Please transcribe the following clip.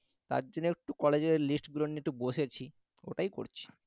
তার জন্য একটু college এর list গুলো নিয়ে একটু বসেছি, ওটাই করছি